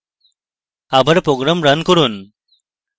আবার program run করব